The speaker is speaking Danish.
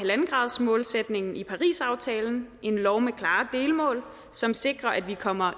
en gradersmålsætningen i parisaftalen en lov med klare delmål som sikrer at vi kommer